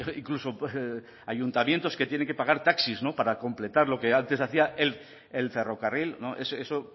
incluso ayuntamientos que tienen que pagar taxis para completar lo que antes hacía el ferrocarril eso